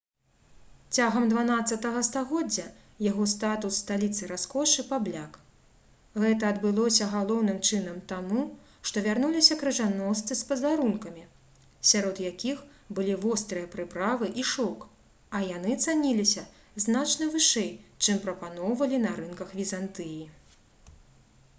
цягам xii стагоддзя яго статус сталіцы раскошы пабляк гэта адбылося галоўным чынам таму што вярнуліся крыжаносцы з падарункамі сярод якіх былі вострыя прыправы і шоўк а яны цаніліся значна вышэй чым прапаноўвалі на рынках візантыі